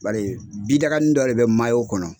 Bari bidagani dɔ de bɛ kɔnɔ.